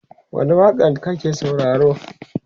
wani waƙa n kuke saurare?